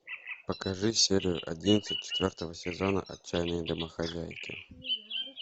покажи серию одиннадцать четвертого сезона отчаянные домохозяйки